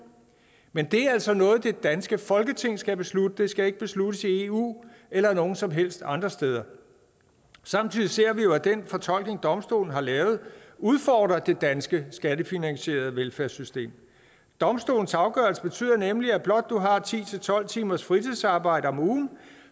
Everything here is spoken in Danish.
men det er altså noget som det danske folketing skal beslutte det skal ikke besluttes i eu eller nogen som helst andre steder samtidig ser vi jo at den fortolkning domstolen har lavet udfordrer det danske skattefinansierede velfærdssystem domstolens afgørelse betyder nemlig at blot du har ti til tolv timers fritidsarbejde om ugen